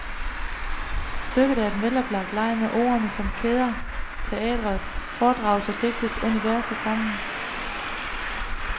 Stykket er en veloplagt leg med ordene, som kæder teatrets, foredragets og digtets universer sammen.